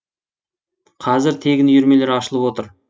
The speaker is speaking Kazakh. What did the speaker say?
қазір тегін үйірмелер ашылып отыр